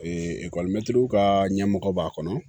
ekɔlimɛtiriw ka ɲɛmɔgɔ b'a kɔnɔ